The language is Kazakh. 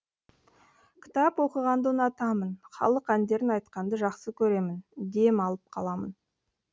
кітап оқығанды ұнатамын халық әндерін айтқанды жақсы көремін дем алып қаламын